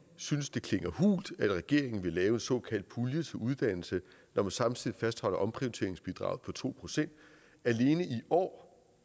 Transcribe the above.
synes det klinger hult at regeringen vil lave en såkaldt pulje til uddannelse når man samtidig fastholder omprioriteringsbidraget på to procent alene i år